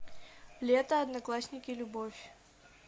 лето одноклассники любовь